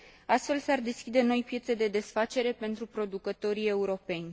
Astfel s ar deschide noi piețe de desfacere pentru producătorii europeni.